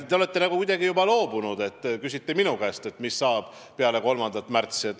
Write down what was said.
Te olete nagu juba alla andnud, kui küsite minu käest, mis saab peale 3. märtsi.